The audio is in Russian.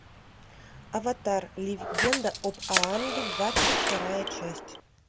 аватар легенда об аанге двадцать вторая часть